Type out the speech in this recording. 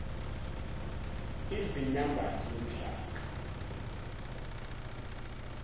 even numbered yomhlaka